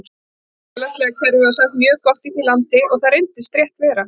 Félagslega kerfið var sagt mjög gott í því landi og það reyndist rétt vera.